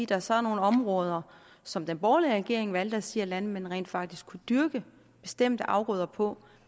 der så er nogle områder som den borgerlige regering valgte at sige at landmændene rent faktisk kunne dyrke bestemte afgrøder på